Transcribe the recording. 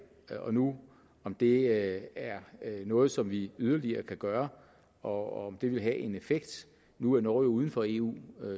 og nu om det er noget som vi yderligere kan gøre og om det vil have en effekt nu er norge jo uden for eu